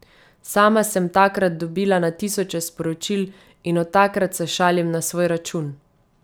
Sama sem takrat dobila na tisoče sporočil in od takrat se šalim na svoj račun.